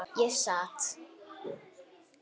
Ég sat.